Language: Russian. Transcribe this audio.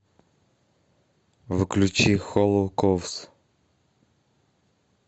включи холлоу ковс